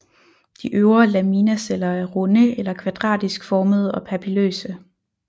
De øvre laminaceller er runde eller kvadratisk formede og papilløse